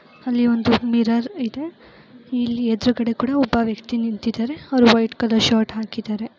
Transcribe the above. ಅಲ್ಲಿ ಒಂದು ಮಿರರ್ ಇದೆ ಇಲ್ಲಿ ಎದುರುಗಡೆ ಕೂಡ ಒಬ್ಬ ವ್ಯಕ್ತಿ ನಿಂತಿದ್ದಾರೆ ಅವರು ವೈಟ್ ಕಾವ್ಯ್ರ್ ಶರ್ಟ್ ಹಾಕಿದ್ದಾರೆ.